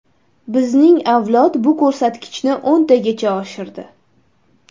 Bizning avlod bu ko‘rsatkichni o‘ntagacha oshirdi.